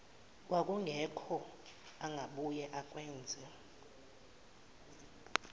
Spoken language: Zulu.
kwakungekho angabuye akwenze